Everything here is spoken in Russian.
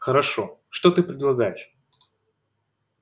хорошо что ты предлагаешь